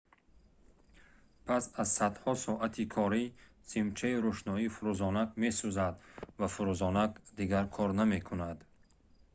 пас аз садҳо соати корӣ симчаи рӯшноӣ фурӯзонак месӯзад ва фурӯзонак дигар кор намекунад